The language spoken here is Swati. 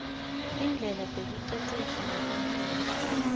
tindlela tekuicecesha ngemidlalo